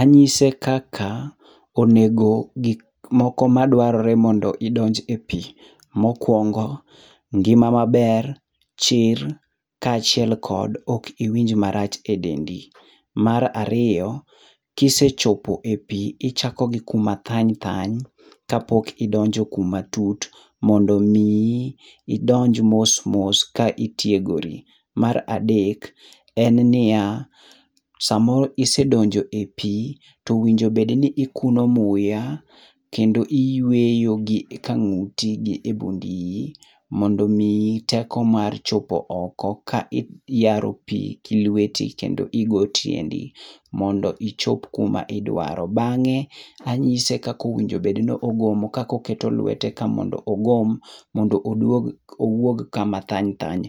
Anyise kaka onego gik moko madwarre mondo idonj epi. Mokuongo, ngima maber, chir, kaachiel kod kok iwinj marach edendi. Mar ariyo, kisechopo e pi, ichako gi kuma thany thany kapok idonjo kuma tut, mondo miyi idonj mos mos ka itiegori. Mar adek, en niya, samoro isedonjo e pi, to owinjo bedni ikuno muya, kendo iyueyo gi kang'uti gi e bund iyi mondo omiyi teko mar chopo oko ka iyaro pi gilweti to igo tiendi mondo ichop kuma idwaro. Bang'e anyise kaka owinjo bed ni ogomo, kaka oketo lwete ka mondo ogom mondo oduog owuog kama thany thany